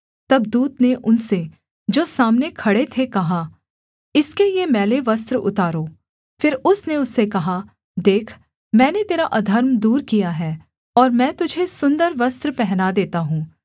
तब दूत ने उनसे जो सामने खड़े थे कहा इसके ये मैले वस्त्र उतारो फिर उसने उससे कहा देख मैंने तेरा अधर्म दूर किया है और मैं तुझे सुन्दर वस्त्र पहना देता हूँ